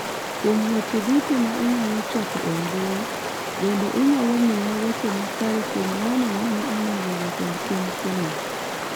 kuom weche duto ma inyalo choko e mbui, bende inyalo miya weche ma kare kuom ng'ano mane onego jatend piny Kennedy